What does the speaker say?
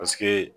Paseke